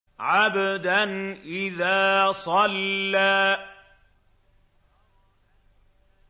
عَبْدًا إِذَا صَلَّىٰ